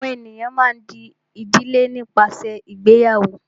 àwọn ènìyàn a má a dí ìdílé nípasẹ ìgbéyàwó.